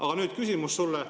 Aga nüüd küsimus sulle.